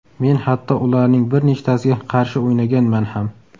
Men hatto ularning bir nechtasiga qarshi o‘ynaganman ham.